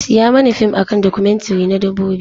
Siya mani fim a kan documentary na Dabbobi.